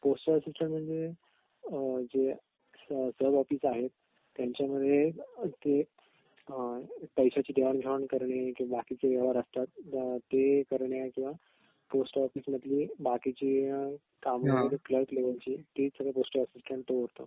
postal assistant म्हणजे अ जे सब ऑफिस आहे त्यांच्यामध्ये अ पैशायची देवाण घेवाण करणे आणि जे बाकीचे व्यवहार असतात अ ते करण्याचं पोस्टल ऑफिसची बाकीची काम वगैरे कलर्क लेवलची ती सगळी पोस्टल असिस्टन्ट बघतो